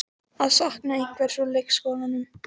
Að sakna einhvers úr leikskólanum